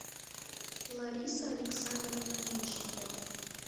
лариса александровна мечникова